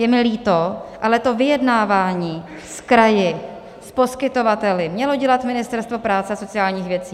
Je mi líto, ale to vyjednávání s kraji, s poskytovateli mělo dělat Ministerstvo práce a sociálních věcí.